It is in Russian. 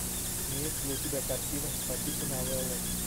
имеется ли у тебя картина по типу новеллы